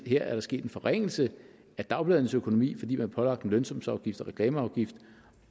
her er der sket en forringelse af dagbladenes økonomi fordi man har pålagt dem lønsumsafgift og reklameafgift